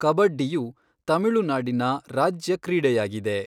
ಕಬಡ್ಡಿಯು ತಮಿಳುನಾಡಿನ ರಾಜ್ಯ ಕ್ರೀಡೆಯಾಗಿದೆ.